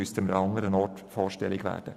Man müsste also andernorts vorstellig werden.